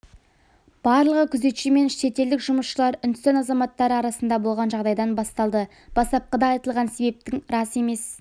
барлығы күзетші мен шетелдік жұмысшылар үндістан азаматтары арасында болған жағдайдан басталды бастапқыда айтылған себептің рас емес